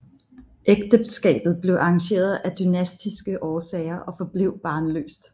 Ægteskabet blev arrangeret af dynastiske årsager og forblev barnløst